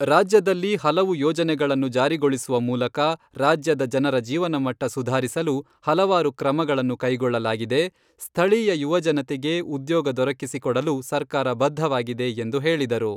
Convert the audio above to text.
ರಾಜ್ಯದಲ್ಲಿ ಹಲವು ಯೋಜನೆಗಳನ್ನು ಜಾರಿಗೊಳಿಸುವ ಮೂಲಕ ರಾಜ್ಯದ ಜನರ ಜೀವನಮಟ್ಟ ಸುಧಾರಿಸಲು ಹಲವಾರು ಕ್ರಮಗಳನ್ನು ಕೈಗೊಳ್ಳಲಾಗಿದೆ, ಸ್ಥಳೀಯ ಯುವಜನತೆಗೆ ಉದ್ಯೋಗ ದೊರಕಿಸಿ ಕೊಡಲು ಸರ್ಕಾರ ಬದ್ಧವಾಗಿದೆ, ಎಂದು ಹೇಳಿದರು.